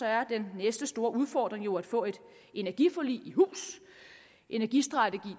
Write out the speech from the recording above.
er den næste store udfordring jo at få et energiforlig i hus energistrategi